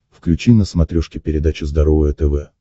включи на смотрешке передачу здоровое тв